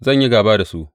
Zan yi gāba da su,